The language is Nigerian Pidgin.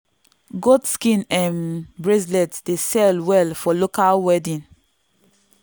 goat skin um bracelet dey sell well for local wedding.